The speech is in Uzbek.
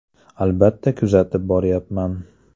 Albatta, kuzatib boryapman.